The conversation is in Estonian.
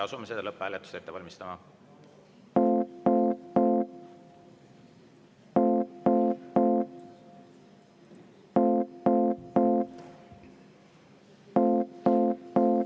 Asume lõpphääletust ette valmistama.